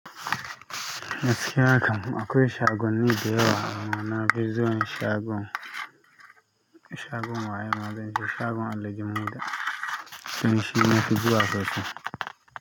Gaskiya kam akwai shagon ni da yawa, amma na fi zo yin shagon, shagon waye ma zance shagon Alijah Muda, kusan shi nafi zuwa da kyau.